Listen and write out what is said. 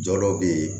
Jɔyɔrɔ be yen